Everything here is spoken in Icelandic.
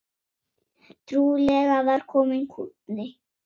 Trúlega var kominn kúnni.